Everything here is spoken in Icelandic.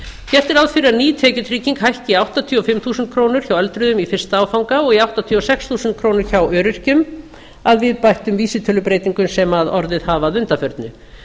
gert er ráð fyrir að ný tekjutrygging hækki í áttatíu og fimm þúsund krónur hjá öldruðum í fyrsta áfanga og í áttatíu og sex þúsund krónur hjá öryrkjum að viðbættum vísitölubreytingum sem orðið hafa að undanförnu